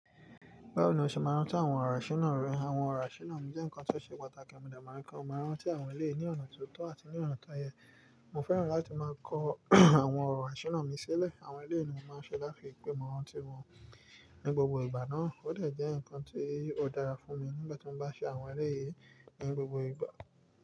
Báwo ni ó ṣe máa rántí àwọn ọ̀rọ̀ àṣìná rẹ. Àwọn ọ̀rọ̀ àṣìná mi jẹ́ nǹkan tó ṣe pàtàkì mo dé máa ń rí pé mó máa rántí àwọn èléyi ní ọ̀nà tó tọ́ àti ní ọ̀nà tó yẹ. Mo fẹ́ràn láti máa kọ àwọn ọ̀rọ̀ àṣìná mi sílẹ̀. Àwọn eléyi ní mó máa ń ṣe láti rí pè mọ́ rántí wọn ní gbogbo ìgbà náà. Ó dè jẹ́ ǹkan tí ó dára fún mi nígbà tí mo bá ṣe àwọn eléyìí ní gbogbo ìgbà.